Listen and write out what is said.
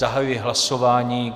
Zahajuji hlasování.